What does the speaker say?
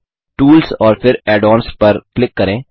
tools और फिर add ons पर क्लिक करें